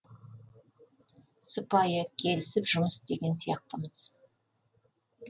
сыпайы келісіп жұмыс істеген сияқтымыз